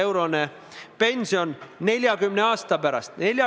Eriti oluline on see siis, kui tegemist on alaealistega.